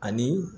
Ani